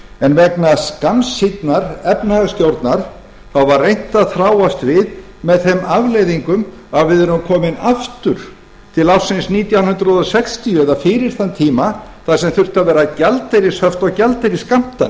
en vegna skammsýnnar efnahagsstjórnar var reynt að þráast við með þeim afleiðingum að við erum komin aftur til ársins nítján hundruð sextíu eða fyrir þann tíma þar sem þurftu að vera gjaldeyrishöft og gjaldeyrisskammtanir